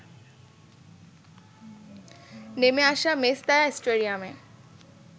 নেমে আসা মেসতায়া স্টেডিয়ামে